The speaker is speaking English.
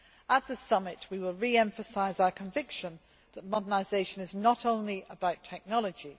At the summit, we will re emphasise our conviction that modernisation is not only about technology.